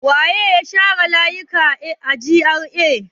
Wane ne ya share layuka a GRA?